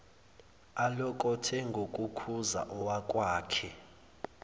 alokothe ngokukhuza owakwakhe